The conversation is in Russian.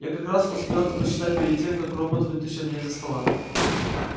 я как раз успел это подсчитать перед тем как робот вытащил меня из-за стола